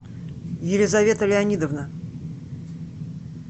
елизавета леонидовна